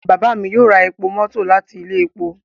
Baba mi yoo ra epo mọto lati ile epo